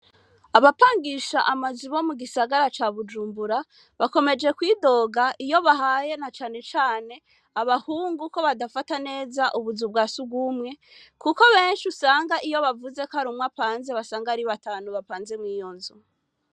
Abapangisha amazui bo mu gisagara ca bujumbura bakomeje kwidoga iyo bahaye na canecane abahungu uko badafata neza ubuzu bwa si ugumwe, kuko benshi usanga iyo bavuze ko ari umwapanze basanga ari batanu bapanze mw'iyonzu.